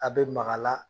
A bɛ maka la